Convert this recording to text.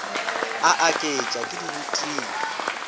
a aketša ke di rutile